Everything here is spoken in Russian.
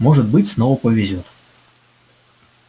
может быть снова повезёт